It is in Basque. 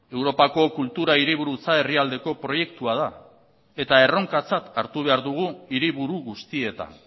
europako kultura hiriburutza herrialdeko proiektua da eta erronkatzat hartu behar dugu hiriburu guztietan